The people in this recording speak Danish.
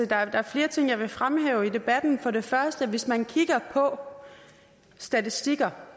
der er flere ting jeg vil fremhæve i debatten for det første at hvis man kigger på statistikkerne